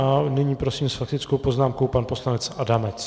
A nyní prosím s faktickou poznámkou pan poslanec Adamec.